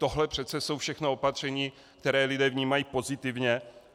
Tohle přece jsou všechno opatření, která lidé vnímají pozitivně.